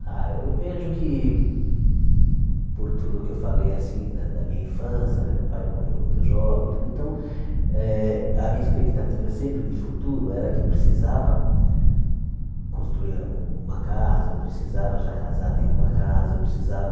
Ah, eu vejo que por tudo que eu falei assim né da minha infância né, meu pai morreu muito jovem e tudo, então eh a minha expectativa sempre de futuro era que eu precisava construir um uma casa, eu precisava já casar tendo uma casa, eu precisava